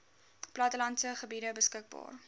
plattelandse gebiede beskikbaar